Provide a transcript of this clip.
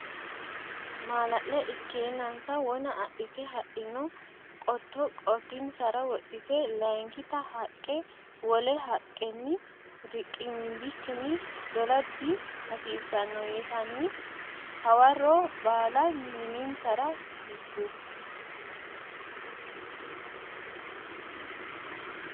Maalale ikkeennansa wona adhite hadhino qotto qotinsara wodhite Layinkita haqqe wole haqqenni riqimbikkinni dola dihasiissanno yitanni hawarro balla mininsara higgu.